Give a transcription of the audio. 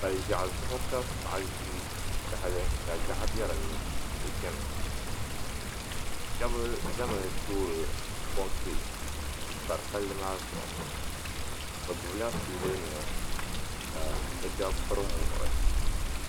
Paliʒiaɣu zuɣu ka paɣa ʒi tahali ka gaɣa be dinni ka o chɛna shɛba zami n toori konkireti m pari palli maa zuɣu bɛ gbibla soobuli nima ka bɛ shɛba piri muɣuri.